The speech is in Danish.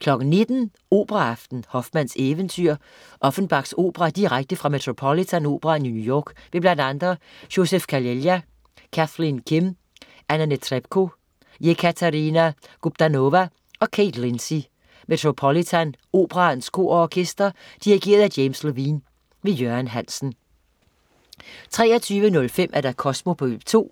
19.00 Operaaften. Hoffmanns eventyr. Offenbachs opera direkte fra Metropolitan Operaen i New York med bl.a. Joseph Calleja, Kathleen Kim, Anna Netrebko, Ekaterina Gubanova og Kate Lindsey. Metropolitan Operaens Kor og Orkester. Dirigent: James Levine. Jørgen Hansen 23.05 Kosmo på P2.